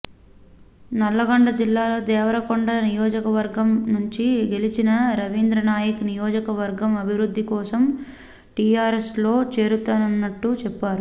నల్లగొండ జిల్లా దేవరకొండ నియోజక వర్గం నుంచి గెలిచిన రవీంద్రనాయక్ నియోజక వర్గం అభివృద్ధి కోసం టిఆర్ఎస్లో చేరుతున్నట్టు చెప్పారు